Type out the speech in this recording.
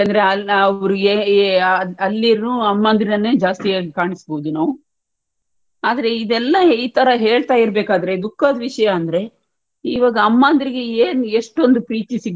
ನಾವು ಏ ಏ ಅಹ್ ಅಲ್ಲಿನು ಅಮ್ಮಂದಿರನ್ನೇ ಜಾಸ್ತಿಯಾಗಿ ಕಾಣಿಸಬೋದು ನಾವು ಆದ್ರೆ ಇದೆಲ್ಲಾ ಈತರ ಹೇಳ್ತಾ ಇರ್ಬೇಕಾದ್ರೆ ದುಃಖ ದ್ ವಿಷಯ ಅಂದ್ರೆ ಈವಾಗ ಅಮ್ಮಂದ್ರಿಗೆ ಏನ್ ಎಷ್ಟೋಂದ್ ಪ್ರೀತಿ ಸಿಗ್ಬೇಕೋ